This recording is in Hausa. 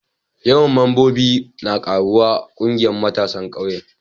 Yawan mambobi na karuwa a ƙungiyar matasan ƙauyen.